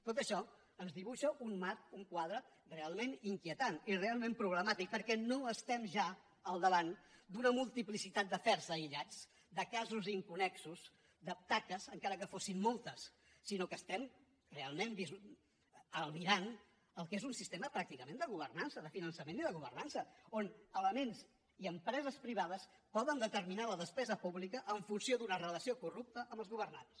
tot això ens dibuixa un marc un quadre realment inquietant i realment problemàtic perquè no estem ja al davant d’una multiplicitat d’afers aïllats de casos inconnexos de taques encara que en fossin moltes sinó que estem realment albirant el que és un sistema pràcticament de governança de finançament i de governança on elements i empreses privades poden determinar la despesa pública en funció d’una relació corrupta amb els governants